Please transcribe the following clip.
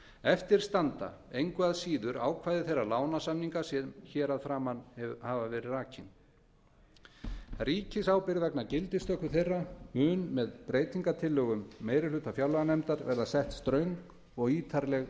eftir standa engu að síður ákvæði þeirra lánasamninga sem rakin hafa verið ríkisábyrgð vegna gildistöku þeirra mun með breytingartillögum meiri hluta fjárlaganefndar verða sett ströng og ítarleg